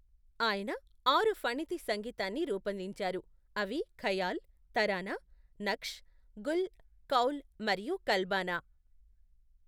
ఆయన ఆరు ఫణితి సంగీతాన్ని రూపొందించారు, అవి ఖయాల్, తరానా, నఖ్ష్, గుల్, కౌల్ మరియు కల్బానా.